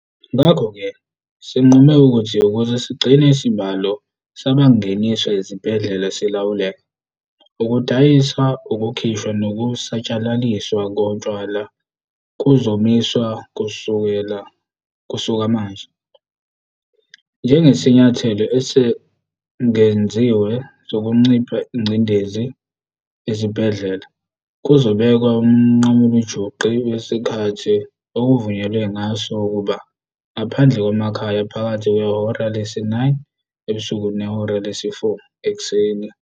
Ngakho-ke sinqume ukuthi ukuze sigcine isibalo sabangeniswa ezibhedlela silawuleka, ukudayiswa, ukukhishwa nokusatshalaliswa kotshwala kuzomiswa kusuka manje. Njengesinyathelo esengeziwe sokunciphisa ingcindezi ezibhedlela, kuzobekwa umnqamulajuqu wesikhathi okuvunyelwe ngaso ukuba ngaphandle kwamakhaya phakathi kwehora lesi-9 ebusuku nehora lesi-4 ekuseni.